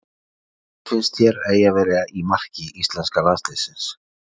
Hver finnst þér að eigi að vera í marki íslenska landsliðsins?